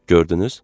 Gördünüz?